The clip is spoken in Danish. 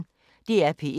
DR P1